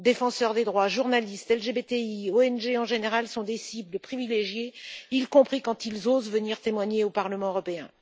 Défenseurs des droits, journalistes, LGBTI, ONG en général sont des cibles privilégiées, y compris quand ils osent venir témoigner au Parlement européen.